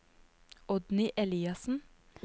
Oddny Eliassen